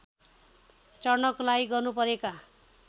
चढ्नको लागि गर्नुपरेका